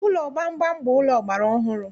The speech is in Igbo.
Ụlọ gbamgbam bụ ụlọ ọgbara ọhụrụ